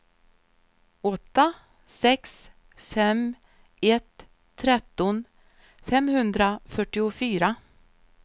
åtta sex fem ett tretton femhundrafyrtiofyra